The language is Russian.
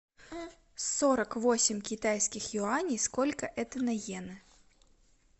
сорок восемь китайских юаней сколько это на йены